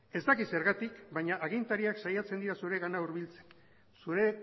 ez dakit zergatik baina agintariak saiatzen dira zuregana hurbiltzen zure